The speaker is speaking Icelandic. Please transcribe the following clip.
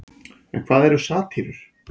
en hvað eru satírur